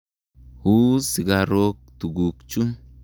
U sigarok tuguk chu.